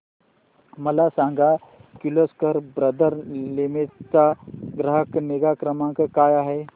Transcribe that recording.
मला सांग Kirloskar brother limited चा ग्राहक निगा क्रमांक काय आहे